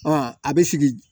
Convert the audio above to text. a bɛ sigi